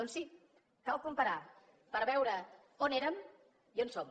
doncs sí cal comparar per veure on érem i on som